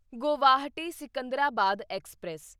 Guwahati Secunderabad express